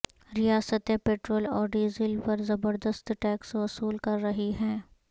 ریاستیں پیٹرول اور ڈیزل پر زبردست ٹیکس وصول کررہی ہیں